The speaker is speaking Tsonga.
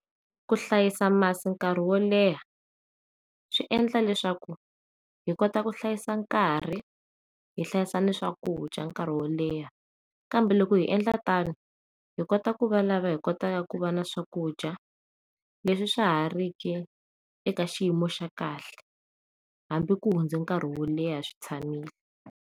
Ku hlayisa masi nkarhi wo leha swi endla leswaku hi kota ku hlayisa nkarhi hi hlayisa ni swakudya nkarhi wo leha kambe loko hi endla tani hi kota ku va lava hikotaka ku va na swakudya leswi swahariki eka xiyimo xa kahle hambi ku hundze nkarhi wo leha swi tshamile.